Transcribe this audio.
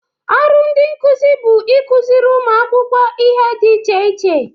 ọrụ ndị nkuzi bụ ịkụziri ụmụ akwụkwọ ihe dị iche iche.